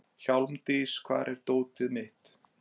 Hjálmdís, hvar er dótið mitt?